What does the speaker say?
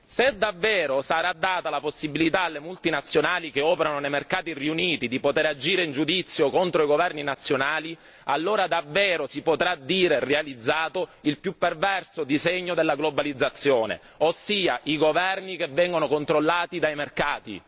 Se davvero sarà data la possibilità alle multinazionali che operano nei mercati riuniti di poter agire in giudizio contro i governi nazionali, allora davvero si potrà dire realizzato il più perverso disegno della globalizzazione, ossia i governi che vengono controllati dai mercati.